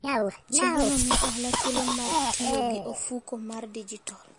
Chenrono miyo ohala thuolo mar tiyo gi ofuko mar digital.